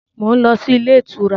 Mo ń lọ sí ilé ìtura.